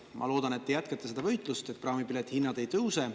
Ma loodan, et te jätkate seda võitlust, et praamipiletite hinnad ei tõuse.